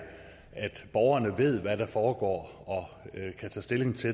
borgerne ved hvad der foregår og kan tage stilling til